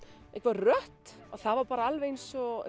rödd og það var bara alveg eins og